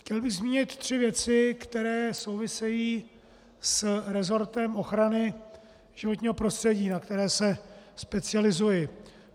Chtěl bych zmínit tři věci, které souvisejí s resortem ochrany životního prostředí, na které se specializuji.